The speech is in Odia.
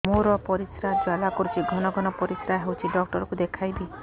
ମୋର ପରିଶ୍ରା ଜ୍ୱାଳା କରୁଛି ଘନ ଘନ ପରିଶ୍ରା ହେଉଛି ଡକ୍ଟର କୁ ଦେଖାଇବି